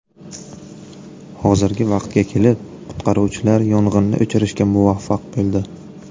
Hozirgi vaqtga kelib qutqaruvchilar yong‘inni o‘chirishga muvaffaq bo‘ldi.